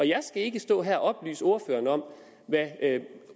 jeg skal ikke stå her og oplyse ordføreren om hvad